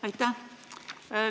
Aitäh!